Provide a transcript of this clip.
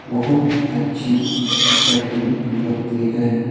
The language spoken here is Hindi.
बहुत अच्छी कटिंग होती है।